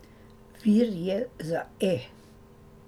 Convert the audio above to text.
Vir je za E!